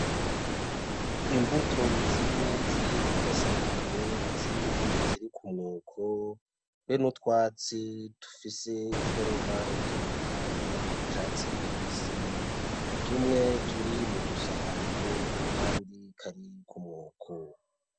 Imbuto zimwe ziri kugasahani izindi ziri kumwoko, be n'utwatsi dufise iforoma itandukanye tw'icatsi kibisi tumwe turi mudu sahani akandi kari kumwoko.